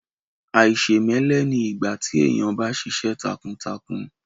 Àìṣèmẹ́lẹ́ ni ìgbà tí èèyàn bá ṣiṣẹ́ takuntakun